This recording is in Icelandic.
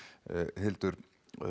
Hildur